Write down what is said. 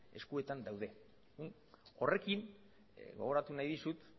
eskuetan daude horrekin gogoratu nahi dizut